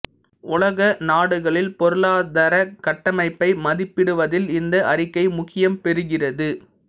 உலக நாடுகளில் பொருளாதரக் கட்டமைப்பை மதிப்பிடுவதில் இந்த அறிக்கை முக்கியம் பெறுகிறது